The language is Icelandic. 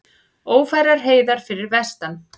Ófærar heiðar fyrir vestan